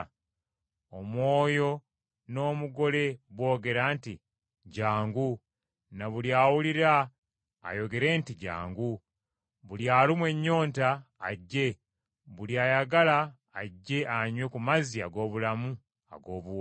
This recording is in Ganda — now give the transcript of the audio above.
Omwoyo n’Omugole boogera nti, “Jjangu.” Na buli awulira ayogere nti, “Jjangu.” Buli alumwa ennyonta ajje, buli ayagala ajje anywe ku mazzi ag’obulamu ag’obuwa.